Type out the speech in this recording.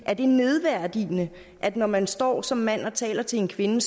er det nedværdigende at når man står som mand og taler til en kvinde